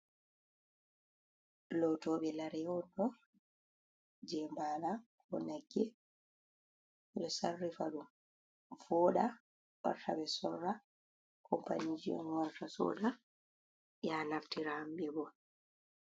Lotobe lare on do je bala ko nagge ,bedo sarri vado voda ortave sorra company jnorta soda ya naftira hambe bo.